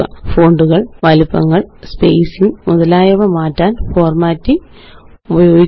ഫോണ്ടുകള് വലിപ്പങ്ങള് സ്പേസിംഗ് മുതലായവ മാറ്റാന് ഫോര്മാറ്റിംഗ് ഉപയോഗിക്കുക